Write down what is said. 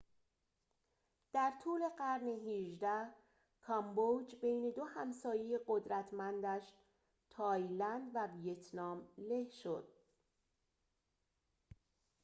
در طول قرن ۱۸ کامبوج بین دو همسایه قدرتمندش تایلند و ویتنام له شد